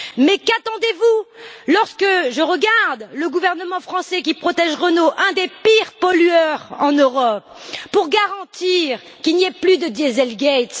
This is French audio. Mais qu'attendez vous lorsque je regarde le gouvernement français qui protège Renault, un des pires pollueurs en Europe pour garantir qu'il n'y ait plus de diesel gates?